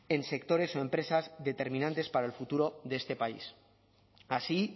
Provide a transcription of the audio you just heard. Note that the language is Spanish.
en sectores o empresas determinantes para el futuro de este país así